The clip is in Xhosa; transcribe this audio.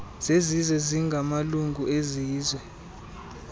zezizwe ezingamalungu ezizwe